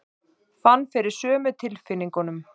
Fann fyrir sömu tilfinningunum.